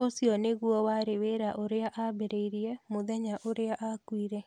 Ũcio nĩguo warĩ wĩra ũrĩa aambĩrĩirie mũthenya ũrĩa aakuire.